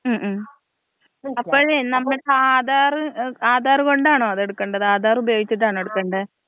ഉം ഉം. അപ്പഴേ നമ്മള് ആധാറ്, ആധാറ് കൊണ്ടാണോ അത് എടുക്കണ്ടത്? ആധാറ് ഉപയോഗിചിട്ടാണോ എടുക്കണ്ടേ?